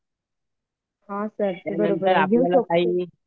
हो सर बरोबर घेऊ शकतो